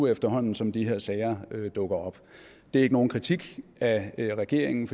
efterhånden som de her sager dukker op det er ikke nogen kritik af regeringen